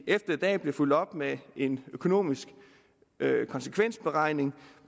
efter i dag bliver fulgt op med en økonomisk konsekvensberegning